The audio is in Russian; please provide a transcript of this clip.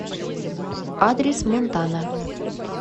адрес монтана